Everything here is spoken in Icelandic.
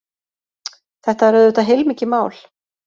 Þetta er auðvitað heilmikið mál